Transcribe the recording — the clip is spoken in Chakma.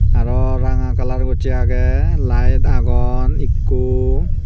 aro ranga kalar gocche agey layet agon ekko.